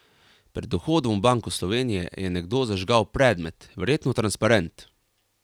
Pred vhodom v Banko Slovenije je nekdo zažgal predmet, verjetno transparent.